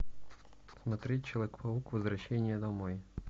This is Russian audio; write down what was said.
смотреть человек паук возвращение домой